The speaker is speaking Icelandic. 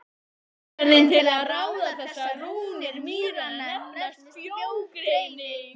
Aðferðin til að ráða þessar rúnir mýranna nefnist frjógreining.